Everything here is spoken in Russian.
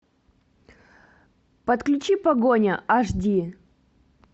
подключи погоня аш ди